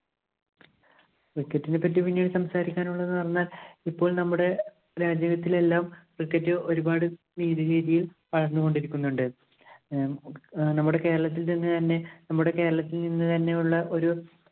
Cricket ഇനെ പറ്റി പിന്നീടു സംസാരിക്കാന്‍ ഉള്ളതെന്ന് പറഞ്ഞാല്‍ ഇപ്പോള്‍ നമ്മുടെ രാജ്യത്തിലെല്ലാം cricket ഒരു പാട് നേരിയ രീതിയില്‍ പടര്‍ന്നു കൊണ്ടിരിക്കുന്നുണ്ട്‌. ആഹ് നമ്മുടെ കേരളത്തില്‍ നിന്ന് തന്നെ നമ്മുടെ കേരളത്തില്‍ നിന്ന് തന്നെയുള്ള ഒരു